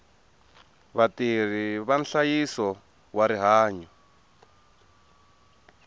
vatirhi va nhlayiso wa rihanyo